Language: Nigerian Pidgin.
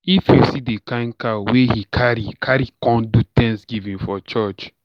If you see the kin cow wey he carry, carry come do Thanksgiving for church.